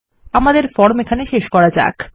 আমাদের ফর্ম এখানে শেষ করা যাক